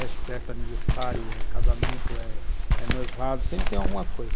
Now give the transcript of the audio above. É festa, aniversário, é casamento, é noivado, sempre tem alguma coisa.